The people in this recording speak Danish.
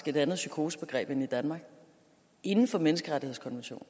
et andet psykosebegreb end i danmark inden for menneskerettighedskonventionen